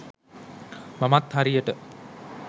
මමත් හරියට